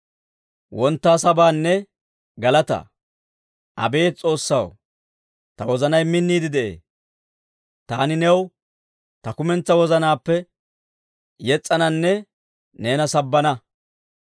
Abeet S'oossaw, ta wozanay minniide de'ee. Taani new ta kumentsaa wozanaappe yes's'ananne neena sabbana.